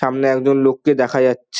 সামনে একজন লোককে দেখা যাচ্ছে ।